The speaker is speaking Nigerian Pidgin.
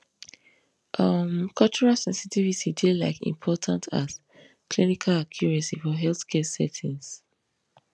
um cultural sensitivity dey like important as clinical accuracy for healthcare settings